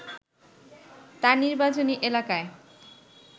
তার নির্বাচনী এলাকায়